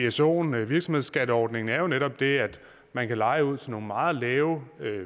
vsoen virksomhedsskatteordningen er jo netop det at man kan leje ud til nogle meget lave